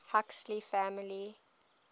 huxley family